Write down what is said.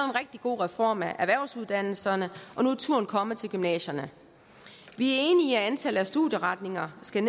rigtig god reform af erhvervsuddannelserne og nu er turen kommet til gymnasierne vi er enige i at antallet af studieretninger skal